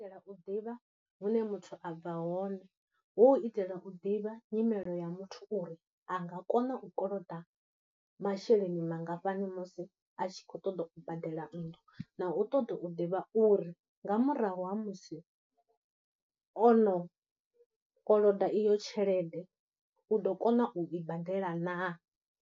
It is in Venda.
Itela u ḓivha hune muthu a bva hone, hu u itela u ḓivha nyimelo ya muthu uri a nga kona u koloda masheleni mangafhani musi a tshi khou ṱoḓa u badela nnḓu, na u ṱoḓa u ḓivha uri nga murahu ha musi o no koloda iyo tshelede, u ḓo kona u i badela na.